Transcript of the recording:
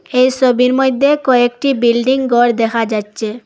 এই সবির মদ্যে কয়েকটি বিল্ডিং গর দেখা যাচ্ছে।